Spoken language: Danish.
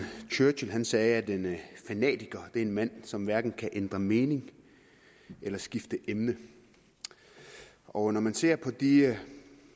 churchill sagde at en fanatiker er en mand som hverken kan ændre mening eller skifte emne og når man ser på de